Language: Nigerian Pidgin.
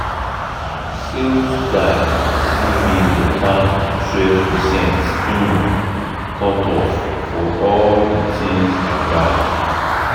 sales guy give me better 12 percent um cut off for all the things i buy.